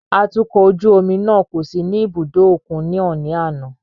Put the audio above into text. Atukọ̀ ojú omi náà kò sí ní ibùdó òkun náà ní àná.